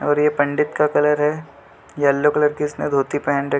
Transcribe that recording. और ये पंडित का कलर है येल्लो कलर की इसने धोती पहन रखी --